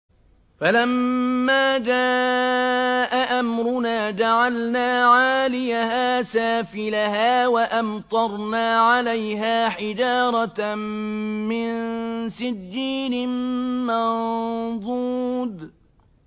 فَلَمَّا جَاءَ أَمْرُنَا جَعَلْنَا عَالِيَهَا سَافِلَهَا وَأَمْطَرْنَا عَلَيْهَا حِجَارَةً مِّن سِجِّيلٍ مَّنضُودٍ